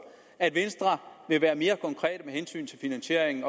at venstre vil være mere konkret med hensyn til finansieringen